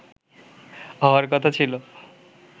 হওয়ার কথা ছিল